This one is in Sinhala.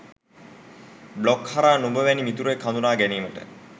බ්ලොග් හරහා නුඹ වැනි මිතුරෙක් හඳුනා ගැනීමට